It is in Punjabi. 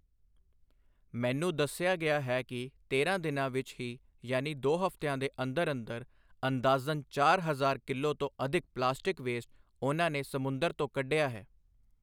ਮੈਨੂੰ ਦੱਸਿਆ ਗਿਆ ਹੈ ਕਿ ਤੇਰਾਂ ਦਿਨਾਂ ਵਿੱਚ ਹੀ ਯਾਨੀ ਦੋ ਹਫ਼ਤਿਆਂ ਦੇ ਅੰਦਰ ਅੰਦਰ ਅੰਦਾਜ਼ਨ ਚਾਰ ਹਜ਼ਾਰ ਕਿਲੋ ਤੋਂ ਅਧਿਕ ਪਲਾਸਟਿਕ ਵੇਸਟ ਉਨ੍ਹਾਂ ਨੇ ਸਮੁੰਦਰ ਤੋਂ ਕੱਢਿਆ ਹੈ।